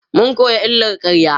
mun koya illar ƙarya